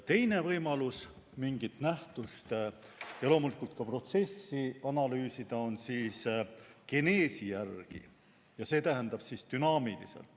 Teine võimalus mingit nähtust ja loomulikult ka protsessi analüüsida on geneesi järgi, see tähendab dünaamilisena.